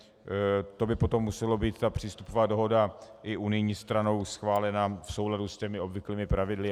To by potom musela být ta přístupová dohoda i unijní stranou schválena v souladu s těmi obvyklými pravidly.